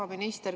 Hea minister!